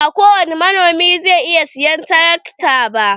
Ba ko wani manomi zai iya siyan tarakta ba.